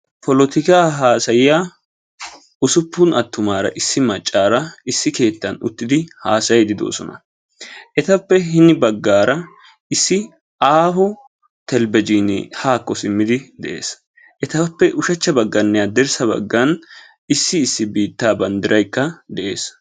Polotikaa haasayiyaa usuppun attumaara issi maccara issi keettan uttidi haasayiiddi doosona. Etappe hini baggaara issi aaho telbejiinee haakko simmidi dees. Etappe ushachchaninne hadirssa baggan issi issi biittaa bandirayikka de"es.